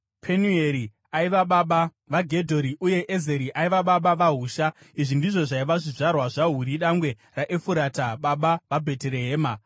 Penueri aiva baba vaGedhori uye Ezeri aiva baba vaHusha. Izvi ndizvo zvaiva zvizvarwa zvaHuri dangwe raEfurata baba vaBheterehema.